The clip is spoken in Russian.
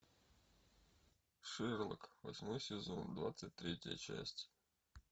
шерлок восьмой сезон двадцать третья часть